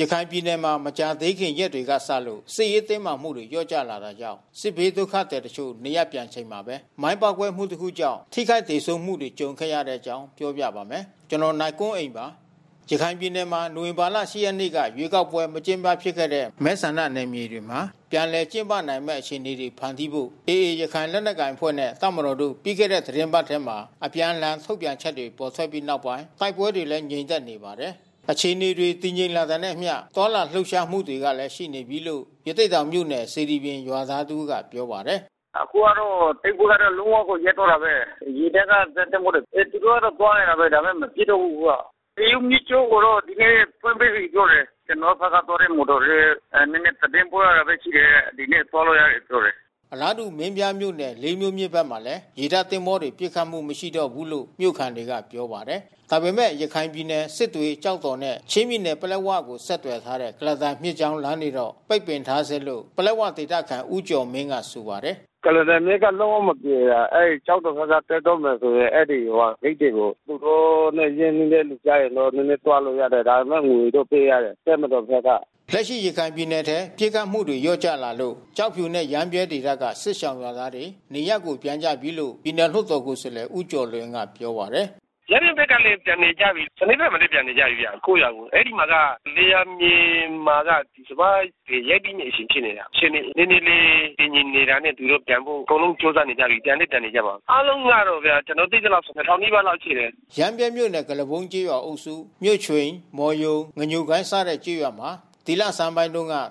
ရခိုင်ပြည်နယ်မှာ မကြာသေးခင်ရက်တွေကစလို့ စစ်ရေးတင်းမာမှုတွေ လျော့ကျလာတာကြောင့် စစ်ဘေးဒုက္ခသည် တချို့ နေရပ်ပြန်နေချိန်မှာပဲ မိုင်းပေါက်ကွဲမှုတခုကြောင့် ထိခိုက်သေဆုံးမှုတွေ ကြုံခဲ့ရတဲ့အကြောင်း နိုင်ကွန်းအိန် ကသတင်းပေးပို့ထားပါတယ်။ ရခိုင်ပြည်နယ်မှာ နိုဝင်ဘာလ ၈ ရက်နေ့က ရွေးကောက်ပွဲ မကျင်းပဖြစ်ခဲ့တဲ့ မဲဆန္ဒနယ်မြေတွေမှာ ပြန်လည်ကျင်းပနိုင်မယ့် အခြေအနေတွေ ဖန်တီးဖို့ AA ရခိုင်လက်နက်ကိုင်အဖွဲ့နဲ့ တပ်မတော်တို့ ပြီးခဲ့တဲ့ သီတင်းပတ်ထဲ အပြန်အလှန် ထုတ်ပြန်ချက်တွေ ထွက်ပေါ်ခဲ့ပြီးနောက် တိုက်ပွဲတွေလည်း ငြိမ်သက်နေပါတယ်။ အခြေအနေတွေ တည်ငြိမ်လာတာနဲ့အမျှ သွားလာလှုပ်ရှားမှုတွေလည်း ရှိနေပြီလို့ ရသေ့တောင်မြို့နယ် စေတီပြင် ရွာသား တဦးကပြောပါတယ်။ “အခုကတော့ တိုက်ပွဲကတော့လုံးဝကိုရပ်သွားတာဘဲ။ ရေတပ်ကဇက်သင်္ဘောတွေ သူတို့ကသွားနေတာဘဲ ဒါပေမဲ့ မပစ်တော့ဘူးအခုက။ မေယုမြစ်ကြောင်းကိုတော့ ဒီနေ့ဖွင့်ပေးလိုက်ပြီးပြောတယ်။ ကျွန်တော်တို့ဖက်ကသွားတဲ့ မော်တော်တွေလဲ နဲနဲသတင်းပို့ရတာဘဲရှိတယ်။ ဒီနေ့သွားလို့ရပြီးလို့ပြောတယ်။” အလားတူမင်းပြားမြို့နယ် လေးမြို့မြစ်ဖက်မှာလဲ ရေတပ်သင်္ဘောတွေပစ်ခတ်မှုမရှိတော့ ဘူးလို့မြို့ခံတွေက ပြောပါ တယ်။ ဒါပေမဲ့ ရခိုင်ပြည်နယ်စစ်တွေ ကျောက်တော်နဲ့ ချင်းပြည်နယ်ပလက်ဝကိုဆက်သွယ်ထားတဲ့ ကုလားတန်မြစ်ကြောင်းလမ်း ကတော့ပိတ်ပင်ထားဆဲလို့ ပလက်ဝဒေသခံ ဦးကျော်မင်းကဆိုပါတယ်။ “ကုလားတန်မြစ်ကလုံးဝမပြေပါ။ ကျောက်တော်ဖက်က တက်တော့မယ်ဆိုရင် အဲဒီဟိုဟာဂိတ်တွေကို သူတို့နဲ့ညှိလို့ ရတဲ့ သူကျရင်တော့ နဲနဲသွားလို့ရတယ်။ ဒါပေမဲ့ငွေတော့ပေးရတယ် တပ်မတော်ဖက်က။” လက်ရှိရခိုင်ပြည်နယ်ထဲ ပစ်ခတ်မှုတွေလျော့ကျလာလို့ ကျောက်ဖြူနဲ့ရမ်းဗြဲဒေသက စစ်ရှောင်ရွာသားတွေ နေရပ်ကို ပြန်ကြပြီးလို့ ပြည်နယ်လွှတ်တော်ကိုယ်စားလှယ်ဦးကျော်လွင်ကပြောပါတယ်။ “ရမ်းဗြဲဖက်လဲပြန်နေကြပြီး။ စနဲဖက်မှာလဲပြန်နေကြပြီးဗျကိုယ့်ရွာကို။ အဲဒီမှာက လယ်ယာမြေမှာက စပါးတွေရိတ်သိမ်း နေချိန်ဖြစ်နေတာ။ အခြေအနေနဲနဲလေးတည်ငြိမ်လာတာနဲ့ သူတို့ပြတန်ဖို့အကုန်လုံးကြိုးစားနေကြပြီး။ ပြန်လဲပြန်နေ ကြပါပြီး။” ရမ်းဗြဲမြို့နယ်၊ ကုလားပုန်းကျေးရွာအုပ်စု၊ ကုလားပုန်း၊ မြို့ချွိန်၊ မော်ရုံ၊ ငညိုကိုင်း စတဲ့ကျေးရွာမှာ ဒီလဆန်းက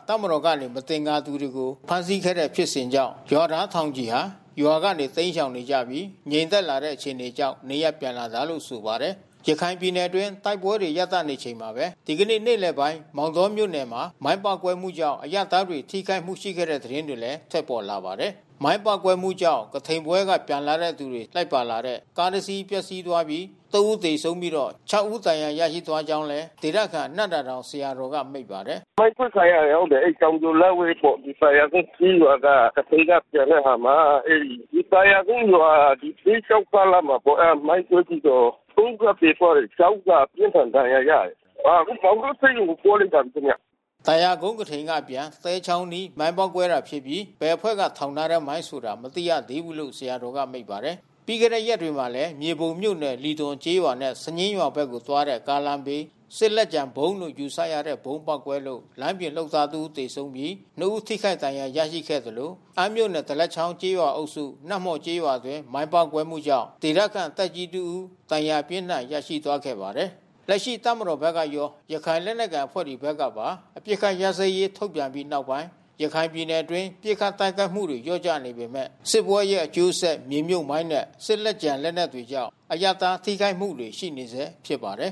တပ်မတော်ကနေ မသင်္ကာသူတွေကိုဖမ်းဆီးခဲ့တဲ့ဖြစ်စဉ်ကြောင့် ရွာသားထောင်ချီဟာ ရွာကနေတိမ်းရှောင်နေကြပြီး ငြိမ်သက်လာတဲ့ အခြေအနေကြောင့် နေရပ်ပြန်လာကြတာလို့ဆိုပါတယ်။ ရခိုင်ပြည်နယ်အတွင်း တိုက်ပွဲတွေ ရပ်တန့်နေချိန်မှာပဲ ဒီကနေ့နေ့လယ်ပိုင်းမောင်တောမြို့နယ်မှာ မိုင်းပေါက်ကွဲမှု ကြောင့် အရပ်သားတွေ ထိခိုက်မှုတွေ ရှိခဲ့တဲ့ သတင်းတွေလည်း ထွက်ပေါ်လာပါတယ်။ မိုင်းပေါက်ကွဲမှုကြောင့် ကထိန်ပွဲက ပြန်လာသူတွေလိုက်ပါလာတဲ့ ကားတစ်စီး ပျက်စီးသွားပြီး ၃ ဦး သေဆုံးပြီး ၆ ဦး ဒဏ်ရာရရှိသွားကြောင်းလည်း ဒေသခံ နံ့သာတောင်ဆရာတော်ကမိန့်ပါတယ်။ “မိုင်းခွဲခံရတယ်ဟုတ်တယ်။ အဲဒီတောင်ပြိုလက်ဝဲပေါ့။ သာယာကုန်းကျေးရွာက ကထိန်ကပြန်တဲ့အခါမှာ အဲဒီသာယာကုန်းရွာ သဲချောင်းကားလမ်မှာပေါ့။ အဲတာမိုင်းကွဲပြီးတော့ ဦးကသေသွားတယ်။ ဦးကအပြင်းထန်ဒဏ်ရာရတယ်။ အော်အခုမောင်တောဆေးရုံကိုပို့လိုက်တယ်ခင်ဗျ။ ” သာယာကုန်း ကထိန်က အပြန် သဲချောင်းအနီးမိုင်းပေါက်ကွဲတာဖြစ်ပြီး ဘယ်အဖွဲ့ထောင်ထားတဲ့မိုင်းဆိုတာ မသိရသေးဘူးလို့ ဆရာတော်က မိန့်ပါတယ်။ ပြီးခဲ့တဲ့ရက်တွေမှာလဲ မြေပုံမြို့နယ် လီသွန်ကျေးရွာနဲ့ စညင်းရွာဘက်ကိုသွားတဲ့ ကားလမ်းဘေး စစ်လက်ကျန်ဗုံးလို့ ယူဆရတဲ့ ဗုံးပေါက်ကွဲလို့ လမ်းပြင်လုပ်သားတဦးသေဆုံးပြီးနှစ်ဦးထိခိုက်ဒဏ်ရာရရှိခဲ့သလို အမ်းမြို့နယ် ဒလက်ချောင်းကျေးရွာအုပ်စု နတ်မော်ကျေးရွာအတွင်းမိုင်းပေါက်ကွဲမှုုကြောင့် ဒေသခံသက်ကြီးတစ်ဦး ဒဏ်ရာအပြင်းအထန်ရရှိသွားခဲ့ပါတယ်။ လက်ရှိတပ်မတော်ဖက်ကရော ရခိုင်လက်နက်ကိုင်အဖွဲ့ဖက်ကပါ အပစ်ခတ်ရပ်စဲရေးထုတ်ပြန်ပြီးနောက်ပိုင်း ရခိုင်ပြည်နယ်အတွင်းပစ်ခတ်တိုက်ခိုက်မှုတွေလျှော့ကျနေပေမဲ့ စစ်ပွဲရဲ့အကျိုးဆက် မြေမြုတ်မိုင်းနဲ့ စစ်လက်ကျန် လက်နက်တွေကြောင့် အရပ်သား ထိခိုက်မှုတွေရှိနေဆဲဖြစ်ပါတယ်